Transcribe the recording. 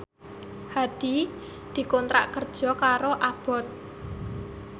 Hadi dikontrak kerja karo Abboth